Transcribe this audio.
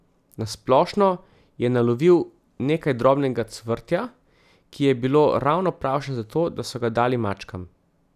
Nasplošno je nalovil nekaj drobnega cvrtja, ki je bilo ravno pravšnje za to, da so ga dali mačkam.